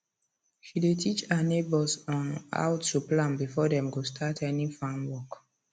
she dey teach her neighbors um how to plan before dem go start any farm work